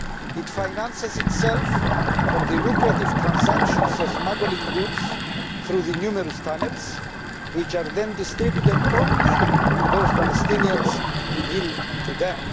It finances itself from the lucrative transactions of smuggling goods through the numerous tunnels which are then distributed only to those Palestinians who yield to them.